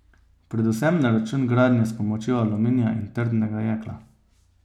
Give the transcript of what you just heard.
Predvsem na račun gradnje s pomočjo aluminija in trdnega jekla.